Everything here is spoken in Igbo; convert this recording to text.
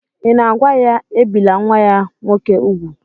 Ị̀ na-agwa ya, ebìla nwa ya nwoke úgwù?